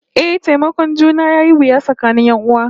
Eh, taimakon juna yayi wuya tsakanin 'yan'uwa